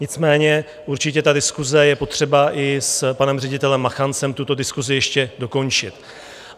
Nicméně určitě ta diskuse je potřeba, i s panem ředitelem Machancem tuto diskusi ještě dokončit.